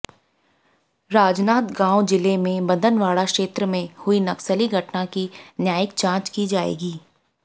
राजनांदगांव जिले के मदनवाड़ा क्षेत्र में हुई नक्सली घटना की न्यायिक जांच की जाएगी